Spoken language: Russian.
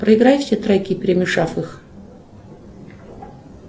проиграй все треки перемешав их